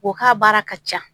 O ka baara ka ca